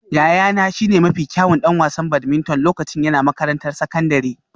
Yayana shine mafi kyawun ɗan wasan badminton lokacin yana makarantar sakandare